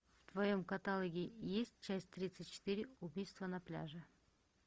в твоем каталоге есть часть тридцать четыре убийство на пляже